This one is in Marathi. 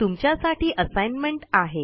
तुमच्यासाठी असाइनमेंट आहे